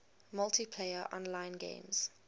multiplayer online games